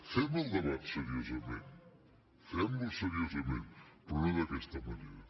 fem el debat seriosament fem lo seriosament però no d’aquesta manera